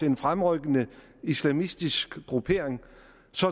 en fremrykkende islamistisk gruppering